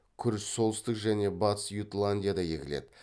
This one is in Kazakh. күріш солтүстік және батыс ютландияда егіледі